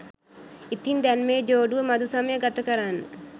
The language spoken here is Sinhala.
ඉතින් දැන් මේ ජෝඩුව මධුසමය ගතකරන්න